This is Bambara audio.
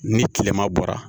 Ni tilema bɔra